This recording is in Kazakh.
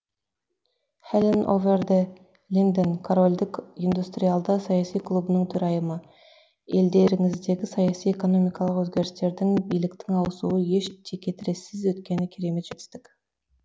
хелин овер де линден корольдік индустриалды саяси клубының төрайымы елдеріңіздегі саяси экономикалық өзгерістердің биліктің ауысуы еш текетірессіз өткені керемет жетістік